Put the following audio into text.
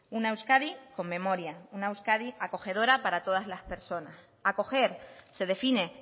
una euskadi con memoria una euskadi acogedora para todas las personas acoger se define